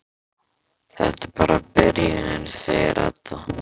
Þetta er bara byrjunin, segir Edda.